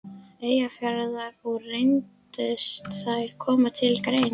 Eyjafjarðar, og reyndust þær koma til greina.